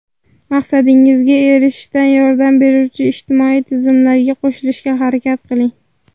Maqsadingizga erishishda yordam beruvchi ijtimoiy tizimlarga qo‘shilishga harakat qiling.